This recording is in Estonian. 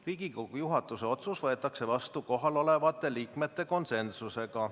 Riigikogu juhatuse otsus võetakse vastu kohalolevate liikmete konsensusega.